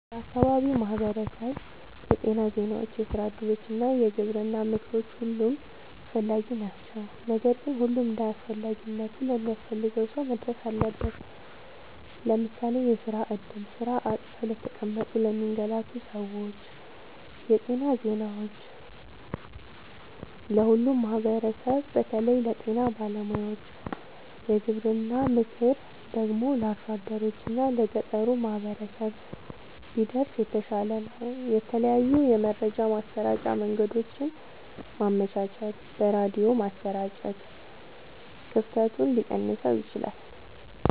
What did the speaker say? ለአካባቢው ማህበረሰብ የጤና ዜናዎች፣ የስራ እድሎች እና የግብርና ምክሮች ሁሉም አስፈላጊ ናቸው። ነገር ግን ሁሉም እንደየአስፈላጊነቱ ለሚያስፈልገው ሰው መድረስ አለበት። ለምሳሌ፦ የስራ እድል (ስራ አጥተው ለተቀመጡ ለሚንገላቱ ሰዎች) ,የጤና ዜናዎች(ለሁሉም ማህበረሰብ በተለይ ለጤና ባለሙያዎች) ,የግብርና ምክር ደግሞ(ለአርሶ አደሮች እና ለገጠሩ ማህበረሰብ) ቢደርስ የተሻለ ነው። የተለያዩ የመረጃ ማሰራጫ መንገዶችን ማመቻቸት(በሬድዮ ማሰራጨት) ክፍተቱን ሊቀንሰው ይችላል።